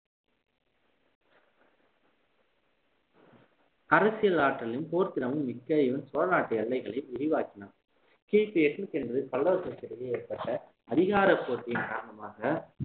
அரசியல் ஆற்றலையும் போர்திறமும் மிக்க இவன் சோழநாட்டு எல்லைகளையும் விரிவாக்கினார் கிபி எட்நூத்தி என்பதில் பல்லவர்களுக்குக்கிடையே ஏற்பட்ட அதிகார போட்டியின் காரணமாக